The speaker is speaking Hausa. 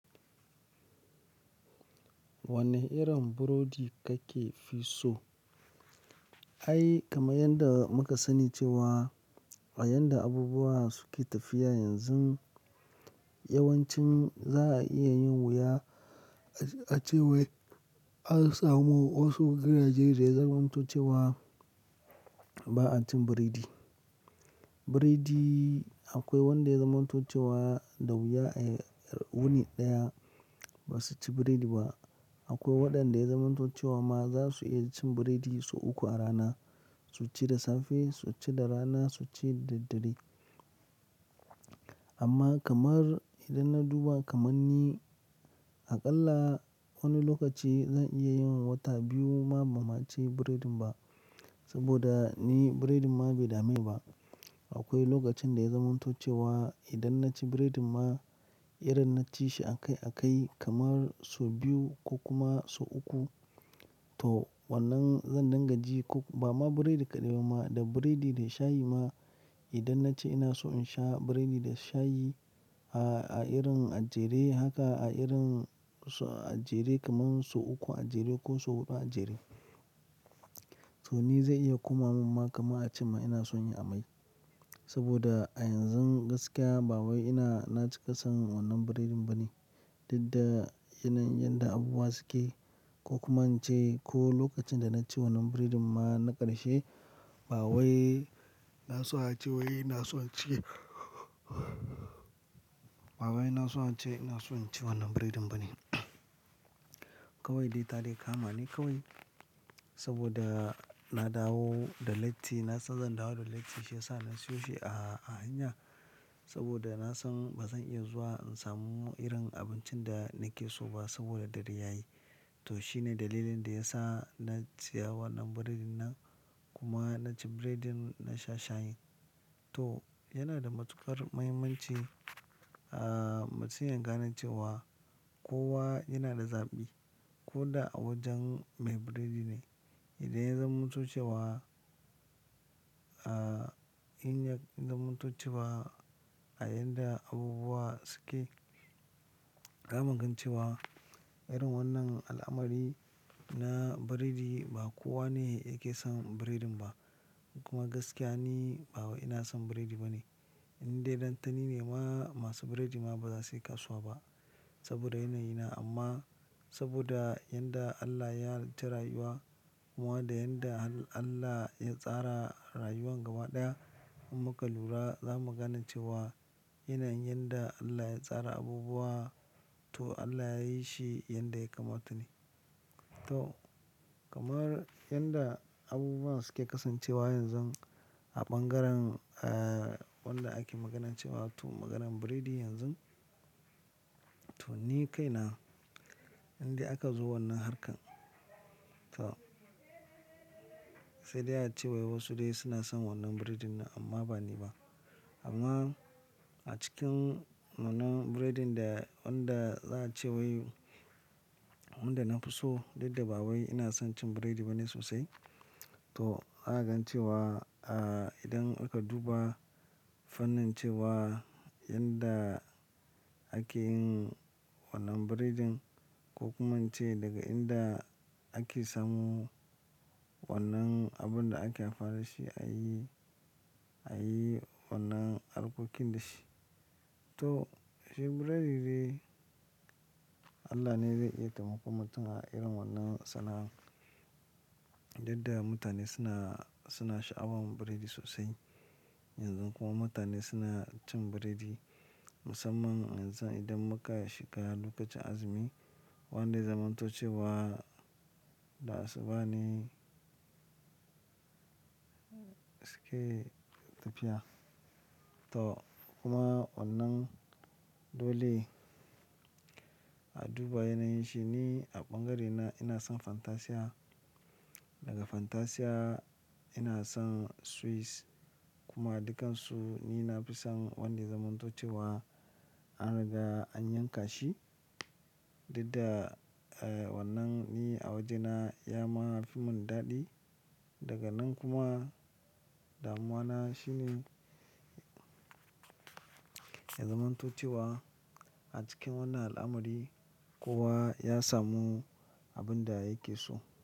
Wane irin burodi kake fi so? Ai kamar yadda muka sani cewa a yanda abubuwa suke tafiya yanzu, yawancin za a iya yin wuya a cewa an samu wasu gidajen da ya zamanto ce wa ba a cin burodi. Burodi akwai wanda ya zamantace wa da wuya a wuni ɗaya ba su ci burodi ba. Akwai waɗanda ya zamantace wa ma za su iya cin burodi sau uku a rana. Su ci da safe, su ci da rana, su ci da daddare. Amma kamar idan na duba kamar ni aƙalla wani lokaci zan iya yin wata biyu ma ba ma ci burodin ba saboda ni biredin ma bai dame ba. Akwai lokacin da ya zamantace wa idan na ci biredin ma, irin na ci shi a kai a kai kamar sau biyu ko kuma sau uku. To wannan zan dangaji ko ba ma biredi kaɗai ba ma da burodi da shayi ma idan na ce ina so in sha burodi da shayi a irin a jere haka a irin sau a jere kaman sau uku a jere ko sau huɗu a jere. To ni zai iya kuma mun ma kama a ce ma ina son yi amai saboda a yanzun gaskiya ba wai ina na ci ƙasan wannan burodin ba ne. Duk da yanayin yanda abubuwa suke ko kuma an ce ko lokacin da na ci wannan biredin ma na ƙarshe ba wai na so a ce wai ina so a ci. Ba wai ina so a ce ina son ci wannan buredin ba ne. Kawai dai tadai kama ne kawai saboda na dawo da latti na san zan dawo da latti shi ya sa na siyo shi a, a hanya saboda na san ba zan iya zuwa in samu irin abincin da nake so ba saboda dare yayi. To shine dalilin da ya sa na saya wannan buredin nan kuma na ci buredin na sha shayin. To yana da matuƙar mahimmanci a mutum ya gane ce wa kowa yana da zaɓi ko da a wajen me buredi ne. Idan ya zamanto ce wa, a in ya zamantace wa a yadda abubuwa suke za mingan cewa irin wannan al'amari na buredi ba kowa ne yake son buredin ba. Kuma gaskiya ni ba wai ina son buredi ba ne. Inda idan tani ne ma masu buredi ma ba za su iya kasuwa ba saboda yanayi na amma saboda yadda Allah ya halacci rayuwa kuma da yadda Allah ya tsara rayuwa gaba ɗaya in muka lura za mu gane cewa yanayin da Allah ya tsara abubuwa to Allah ya yi shi yanda ya kamata ne. To kamar yadda abubuwa suke kasancewa yanzun a ɓangaren a wanda ake maganance wa to maganar buredi yanzun. To ni kai na indai aka zo wannan harkar. To sai dai a ce wai wasu dai suna son wannan buredin nan amma ba ni ba. Amma a cikin wannan buredin da wanda za a ce wai wanda na fi so duk da bawai ina son cin buredi ba ne sosai. To za a gane cewa a idan aka duba fannin cewa yadda ake yin wannan buredin ko kuma in ce daga inda ake samu wannan abun da ake amfani da shi a yi, a yi wannan abokin da shi. To shi buredi dai Allah ne zai iya taimakon mutum a irin wannan sana'ar. Inda mutane suna, suna sha'awan buredi sosai yanzu kuma mutane suna cin buredi musamman yanzu idan muka shiga lokacin azumi wanda zamanto cewa da asuba ne suke tafiya. To kuma wannan dole a duba yanayin shi ni a ɓangarena ina son Fantasia. Daga Fantasia ina son Swiss kuma dukansu ni na fi son wanda zamanto cewa an riga an yanka shi. Duk da wannan ni a wajena ya ma fi mun daɗi. Daga nan kuma damuwana shine zamanto cewa a cikin wannan al'amari kowa ya samu abin da yake so.